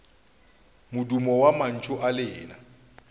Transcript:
modumo wa mantšu a lena